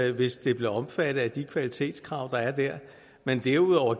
det hvis det blev omfattet af de kvalitetskrav der er der men derudover